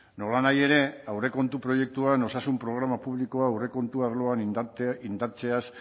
nolanahi ere aurrekontu proiektuan osasun programa publikoa aurrekontu arloan indartzeaz